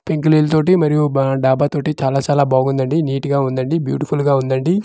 పెంకు ఇల్లుతోటి మరియు బా డాబా తోటి చాలా చాలా బాగుందండి నిట్ గా ఉండండి బ్యూటిఫుల్ గా ఉండండి.